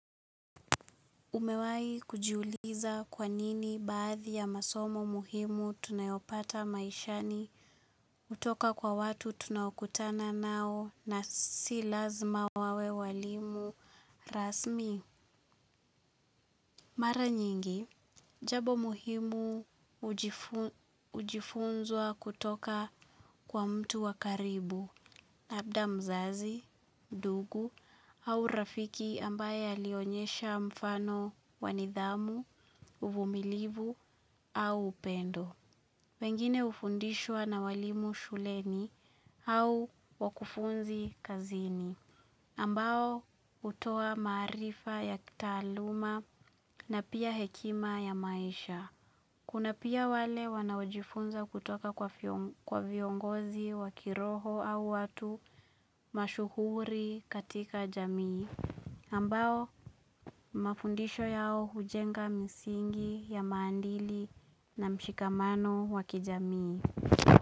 Umewahi kujiuliza kwanini baadhi ya masomo muhimu tunayopata maishani hutoka kwa watu tunaokutana nao na si lazima wawe walimu rasmi. Mara nyingi, jabo muhimu ujifunzwa kutoka kwa mtu wakaribu labda mzazi, ndugu au rafiki ambaye alionyesha mfano wanidhamu, uvumilivu au upendo. Pengine ufundishwa na walimu shuleni au wakufunzi kazini, ambao hutoa maarifa ya kitaaluma na pia hekima ya maisha. Kuna pia wale wanaojifunza kutoka kwa viongozi wakiroho au watu mashuhuri katika jamii, ambao mafundisho yao hujenga misingi ya maadili na mshikamano wakijamii.